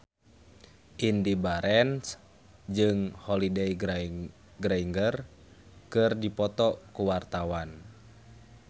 Indy Barens jeung Holliday Grainger keur dipoto ku wartawan